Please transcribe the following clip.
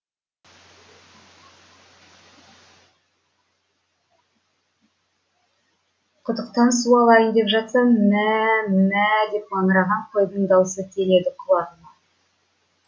құдықтан су алайын деп жатсам мм ә ә мм ә ә деп маңыраған қойдың даусы келеді құлағыма